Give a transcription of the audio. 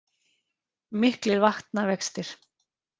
Miklir vatnavextir